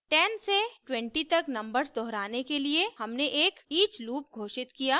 10 से 20 तक नंबर्स दोहराने के लिए हमने एक each लूप घोषित किया